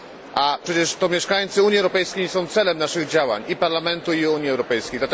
A przecież to mieszkańcy Unii Europejskiej są celem naszych działań, i Parlamentu, i Unii Europejskiej.